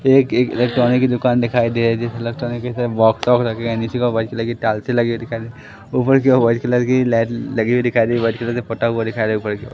एक एक इलेक्ट्रॉनिक की दुकान दिखाई दे रही। जेसे इलेक्ट्रॉनिक के बॉक्स वोक्स रखे हैं। निचे की ओर वाइट कलर की टाइल्स लगी दिखई दे रही हैं। ऊपर की और वाइट कलर की लाइट लगी हुई दिखाई दे रही। वाइट कलर का पटा हुआ दिखाई ऊपर की ओर